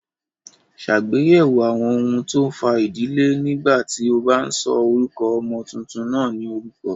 Ṣàgbéyẹ̀wò àwọn ohun tó ń fa ìdílé nígbà tí o bá ń sọ orúkọ ọmọ tuntun náà ní orúkọ.